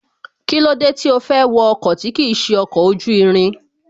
Kílódé tí ó fẹ́ wọ ọkọ̀ tí kìí ṣe ọkọ̀ ojú irin